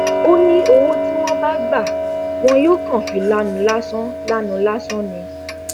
ó ní owó tí wọn bá gbà wọn yóò kàn fi lanu lásán lanu lásán ni